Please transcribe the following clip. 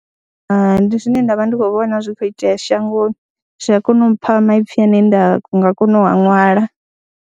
Hai, ndi zwine nda vha ndi khou vhona zwi kho itea shangoni zwi a kona u mpha maipfhi ane nda nga kona u a ṅwala.